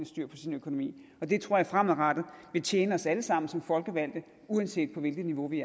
styr på sin økonomi og det tror jeg fremadrettet vil tjene os alle sammen som folkevalgte uanset på hvilket niveau vi